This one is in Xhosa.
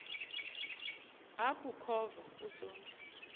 aku khova usonti